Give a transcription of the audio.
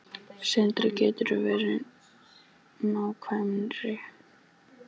Sindri: Geturðu verið nákvæmari?